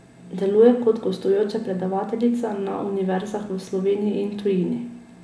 Deluje kot gostujoča predavateljica na univerzah v Sloveniji in tujini.